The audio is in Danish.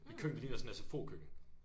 Mit køkken det ligner sådan et SFO køkken